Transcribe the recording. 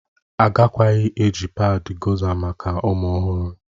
Agakwaghị eji padị Gọza maka ụmụ ọhụrụ